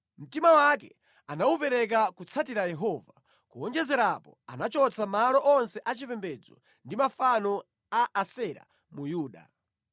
Mtima wake anawupereka kutsatira Yehova, kuwonjezera apo, anachotsa malo onse achipembedzo ndi mafano a Asera mu Yuda.